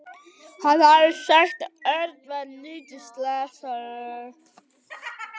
Hann hafði sagt að Örn væri lítið slasaður.